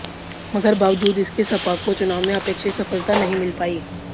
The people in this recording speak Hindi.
मगर बावजूद इसके सपा को चुनाव में अपेक्षित सफलता नहीं मिल पाई